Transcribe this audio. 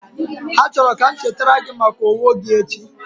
Ha chọrọ ka m chetara gị maka owo gi echi